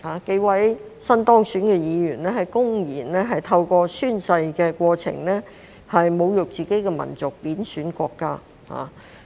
數位新當選議員公然透過宣誓的過程，侮辱自己的民族及貶損國家。